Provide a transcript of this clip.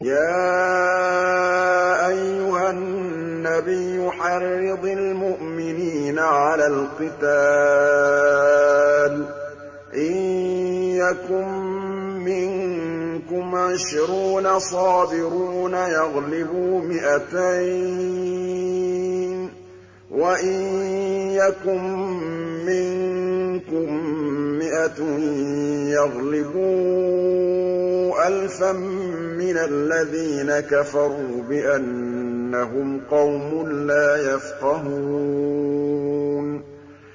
يَا أَيُّهَا النَّبِيُّ حَرِّضِ الْمُؤْمِنِينَ عَلَى الْقِتَالِ ۚ إِن يَكُن مِّنكُمْ عِشْرُونَ صَابِرُونَ يَغْلِبُوا مِائَتَيْنِ ۚ وَإِن يَكُن مِّنكُم مِّائَةٌ يَغْلِبُوا أَلْفًا مِّنَ الَّذِينَ كَفَرُوا بِأَنَّهُمْ قَوْمٌ لَّا يَفْقَهُونَ